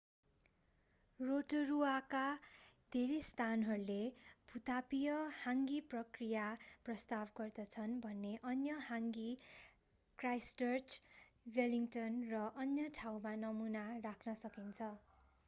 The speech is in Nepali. रोटरूआका धेरै स्थानहरूले भू-तापीय हाङ्गी प्रक्रिया प्रस्ताव गर्दछन् भने अन्य हाङ्गी क्राइस्टचर्च वेलिङ्टन र अन्य ठाउँमा नमूना राख्न सकिन्छ